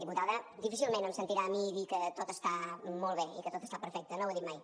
diputada difícilment em sentirà a mi dir que tot està molt bé i que tot està perfecte no ho he dit mai